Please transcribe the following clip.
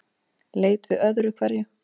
Leit við öðru hverju.